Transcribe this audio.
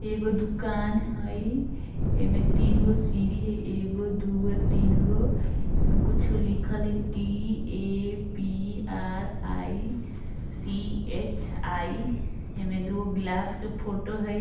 एगो दुकान हय एमें तीनगो सीरी हय एगो दूगो तीनगो इमें कुछो लिखल हय T A P R I C H I ही में दूगो ग्लास के फोटो हय।